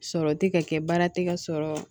Sɔrɔ tɛ ka kɛ baara tɛ ka sɔrɔ